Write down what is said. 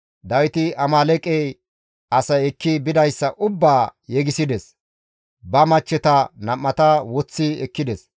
Dawiti Amaaleeqe asay ekki bidayssa ubbaa yegisides; ba machcheta nam7ata woththi ekkides.